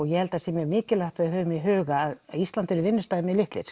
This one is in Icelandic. ég held það sé mikilvægt að hafa í huga að Íslandi eru vinnustaðir litlir